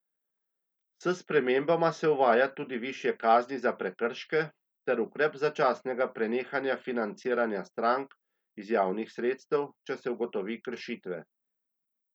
S spremembama se uvaja tudi višje kazni za prekrške ter ukrep začasnega prenehanja financiranja strank iz javnih sredstev, če se ugotovi kršitve.